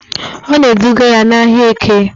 Ọ na-eduga ya n'ahịa Eke